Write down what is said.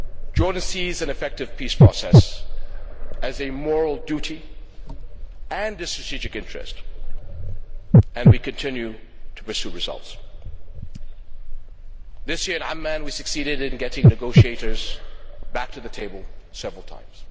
Jordan sees an effective peace process as a moral duty and a strategic interest, and we continue to pursue results. This year in Amman we succeeded in getting negotiators back to the table several times.